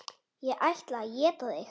Ég ætla að éta þig.